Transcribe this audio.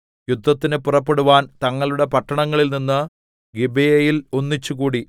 യുദ്ധത്തിന് പുറപ്പെടുവാൻ തങ്ങളുടെ പട്ടണങ്ങളിൽനിന്ന് ഗിബെയയിൽ ഒന്നിച്ചുകൂടി